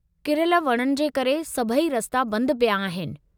किरयल वणनि जे करे सभई रस्ता बंद पिया आहिनि।